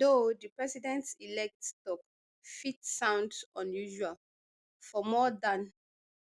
though di presidentelect tok fit sound unusual for more dan